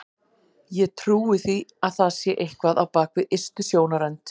Ég trúi því að það sé eitthvað á bak við ystu sjónarrönd.